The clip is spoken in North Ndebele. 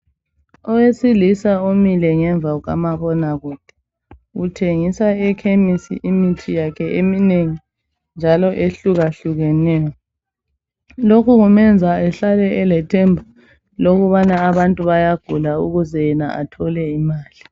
Owesilisa umile ngemva kukamabonakude. Uthengisa ekhemisi imithi yakhe eminengi njalo ehlukahlukeneyo. Lokhu kumenza ehlale elethemba lokubana abantu bayagula ukuze yena athole imali.